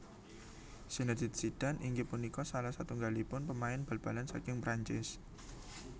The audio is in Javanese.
Zinédine Zidane inggih punika salah satunggalipun pemain bal balan saking Prancis